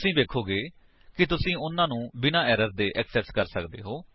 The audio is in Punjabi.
ਤੁਸੀ ਵੇਖੋਗੇ ਕਿ ਤੁਸੀ ਓਹਨਾ ਨੂੰ ਬਿਨਾਂ ਏਰਰ ਦੇ ਐਕਸੇਸ ਕਰ ਸੱਕਦੇ ਹੋ